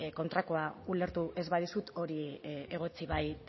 kontrakoa ulertu ez badizut hori egotzi bai